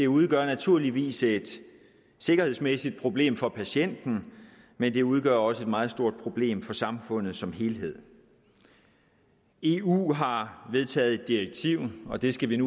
udgør naturligvis et sikkerhedsmæssigt problem for patienten men det udgør også et meget stort problem for samfundet som helhed eu har vedtaget et direktiv og det skal vi